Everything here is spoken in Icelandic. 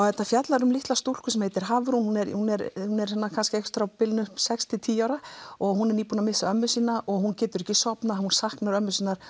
þetta fjallar um litla stúlku sem heitir Hafrún hún er á bilinu sex til tíu ára og hún er nýbúin að missa ömmu sína hún getur ekki sofið og saknar ömmu sinnar